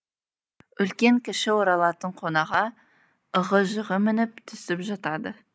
үлкен кіші оралатын қонаға ығы жығы мініп түсіп жатады